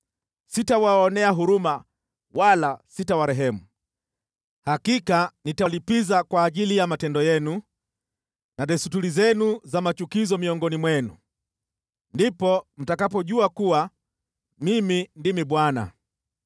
Sitawaonea huruma wala sitawarehemu, hakika nitalipiza kwa ajili ya matendo yenu na desturi zenu za machukizo miongoni mwenu. Ndipo mtakapojua kuwa Mimi ndimi Bwana .